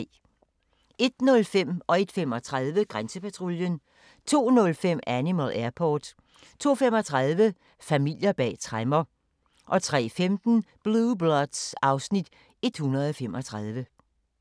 01:05: Grænsepatruljen 01:35: Grænsepatruljen 02:05: Animal Airport 02:35: Familier bag tremmer 03:15: Blue Bloods (Afs. 135)